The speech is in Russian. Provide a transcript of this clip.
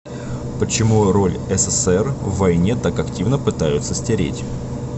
почему роль ссср в войне так активно пытаются стереть